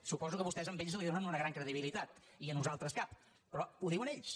suposo que vostès a ells els donen una gran credibilitat i a nosaltres cap pe·rò ho diuen ells